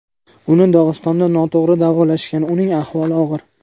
Uni Dog‘istonda noto‘g‘ri davolashgan, uning ahvoli og‘ir.